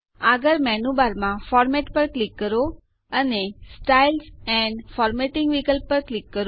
આગળ મેનૂ બારમાં ફોર્મેટ પર ક્લિક કરો અને સ્ટાઇલ્સ એન્ડ ફોર્મેટિંગ વિકલ્પ પર ક્લિક કરો